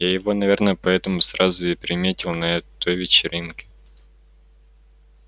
я его наверное поэтому сразу и приметила на той вечеринке